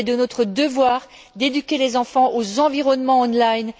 Il est de notre devoir d'éduquer les enfants aux environnements en ligne.